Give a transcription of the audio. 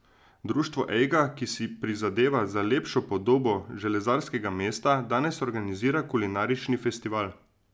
Društvo Ejga, ki si prizadeva za lepšo podobo železarskega mesta, danes organizira kulinarični festival.